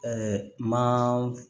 ma